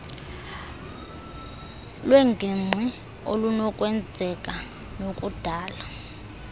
lwengingqi okunokwenzeka nokudala